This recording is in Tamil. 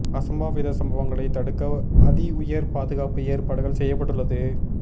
அசம்பாவித சம்பவங்களை தடுக்க அதிஉயர் பாதுகாப்பு ஏற்பாடுகள் செய்யப்பட்டு உள்ளது